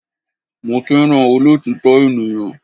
Mo fẹ́ràn olọ́òtítọ́ ènìyàn.